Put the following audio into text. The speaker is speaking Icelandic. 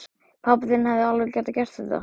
Pabbi þinn hefði alveg getað gert þetta.